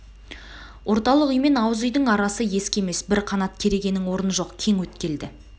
орталық үй мен ауыз үйдің арасы ескі емес бір қанат керегенің орны жоқ кең өткел-ді